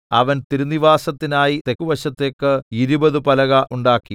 അവൻ തിരുനിവാസത്തിനായി തെക്കുവശത്തേക്ക് ഇരുപത് പലക ഉണ്ടാക്കി